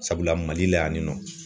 Sabula mali la yan nin nɔ